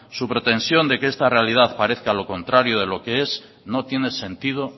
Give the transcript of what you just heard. su pretensión de que esta realidad parezca lo contrario de lo que es no tiene sentido